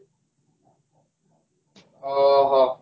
ହଁ ହଁ